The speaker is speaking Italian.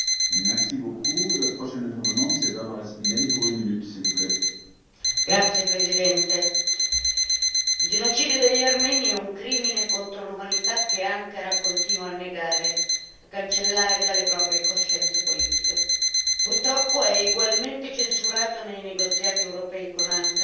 Signor Presidente, onorevoli colleghi, il genocidio degli armeni è un crimine contro l'umanità che Ankara continua a negare, a cancellare dalle proprie coscienze politiche. Purtroppo è egualmente censurato nei negoziati europei con Ankara,